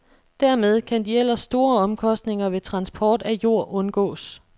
Dermed kan de ellers store omkostninger ved transport af jord undgås.